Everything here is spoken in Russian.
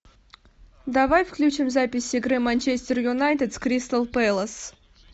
давай включим запись игры манчестер юнайтед с кристал пэлас